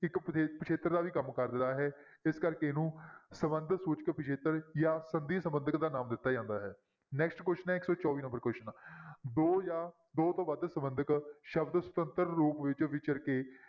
ਇੱਕ ਪਿੱਛੇ~ ਪਿੱਛੇਤਰ ਦਾ ਵੀ ਕੰਮ ਕਰਦਾ ਹੈ ਇਸ ਕਰਕੇ ਇਹਨੂੰ ਸੰਬੰਧ ਸੂਚਕ ਪਿੱਛੇਤਰ ਜਾਂ ਸੰਧੀ ਸੰਬੰਧਕ ਦਾ ਨਾਮ ਦਿੱਤਾ ਜਾਂਦਾ ਹੈ next question ਹੈ ਇੱਕ ਸੌ ਚੌਵੀ number question ਦੋ ਜਾਂ ਦੋ ਤੋਂ ਵੱਧ ਸੰਬੰਧਕ ਸ਼ਬਦ ਸੁਤੰਤਰ ਰੂਪ ਵਿੱਚ ਵਿਚਰ ਕੇ